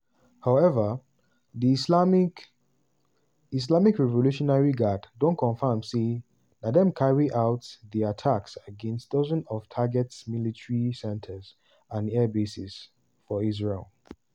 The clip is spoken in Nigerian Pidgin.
however di islamic islamic revolutionary guard don confam say na dem carry out di attacks against "dozens of targets military centres and airbases" for israel.